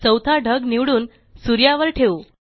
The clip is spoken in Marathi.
चौथा ढग निवडून सूर्यावर ठेवू